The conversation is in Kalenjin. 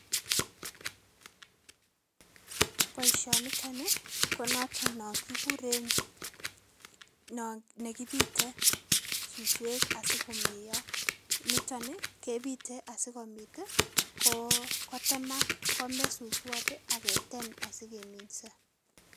Boishoniton konoton non kikuren nekibite suswek asikomeyo, niton kebite asikobit kotemak komee suswot aketem asikeminso.